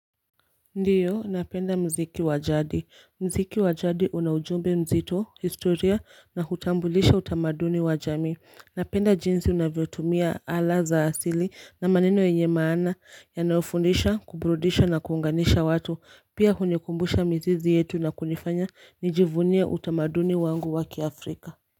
Ndiyo, napenda mziki wajadi. Mziki wajadi unaujumbe mzito, historia na hutambulisha utamaduni wajami. Napenda jinsi unavyo tumia ala za asili na maneno yenye maana ya naofundisha, kubrudisha na kuunganisha watu. Pia hunikumbusha mizizi yetu na kunifanya nijivunie utamaduni wangu waki Afrika.